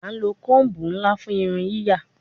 A lo comb nla fun irun yiya